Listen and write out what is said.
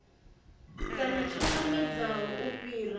kana tsho namedzaho u fhira